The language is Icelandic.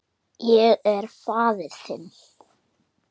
Ég er faðir þinn.